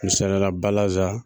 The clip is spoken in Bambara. Misaliyara balaza